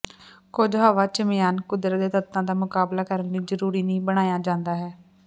ਕੁੱਝ ਹਵਾ ਚਿਮਆਨ ਕੁਦਰਤ ਦੇ ਤੱਤਾਂ ਦਾ ਮੁਕਾਬਲਾ ਕਰਨ ਲਈ ਜ਼ਰੂਰੀ ਨਹੀ ਬਣਾਇਆ ਜਾਂਦਾ ਹੈ